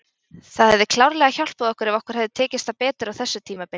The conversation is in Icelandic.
Það hefði klárlega hjálpað okkur ef okkur hefði tekist það betur á þessu tímabili.